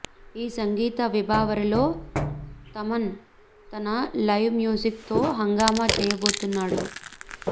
ఈ సంగీత విభావరిలో థమన్ తన లైవ్ మ్యూజిక్ తో హంగామా చేయబోతున్నాడు